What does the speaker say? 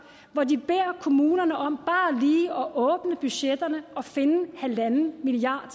hvor de beder kommunerne om bare lige at åbne budgetterne og finde en milliard